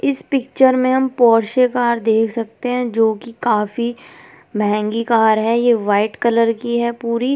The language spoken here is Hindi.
इस पिक्चर में हम पोरसे कार देख सकते हैं जो कि काफ़ी महेंगी कार है ये वाइट कलर की है पूरी।